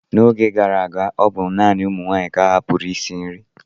N'oge gara aga, ọ bụ naanị ụmụ nwaanyị ka ahapụụrụ isi nri.